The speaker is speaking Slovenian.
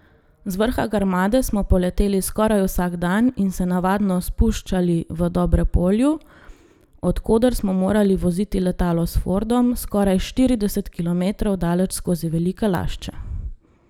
Z vrha Grmade smo poleteli skoraj vsak dan in se navadno spuščali v Dobrepolju, od koder smo morali voziti letalo s Fordom skoraj štirideset kilometrov daleč skozi Velike Lašče.